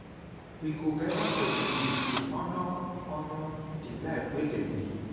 We go gather for vigil to honor honor di life wey dem live.